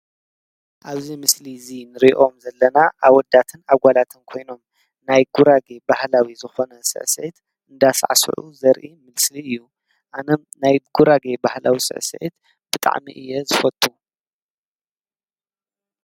ኣብዙ ምስሊ እዙይ ንሪእዮም ዘለና ኣብወዳትን ኣጓላተን ኮይኖም ናይ ጕራጌ ባህላዊ ዝኾነ ሥአሰኤት እንዳሣዕስዑ ዘርኢ ምልስሊ እዩ ኣነ ናይ ጕራጌ ባህላዊ ስአሰኤት ብጣዕሚ እየ ዝፈቱ።